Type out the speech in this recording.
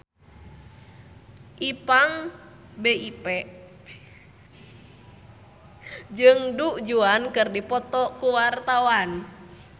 Ipank BIP jeung Du Juan keur dipoto ku wartawan